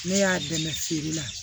Ne y'a dɛmɛ feere la